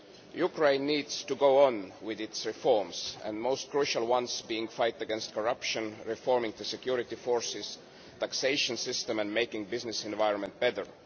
Ukraine needs to go on with its reforms, the most crucial ones being the fight against corruption, reforming the security forces and the taxation system, and making the business environment better.